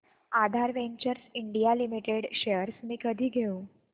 आधार ventures India limited shares मी कधी घेऊ